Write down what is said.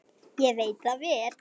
Ég veit það vel!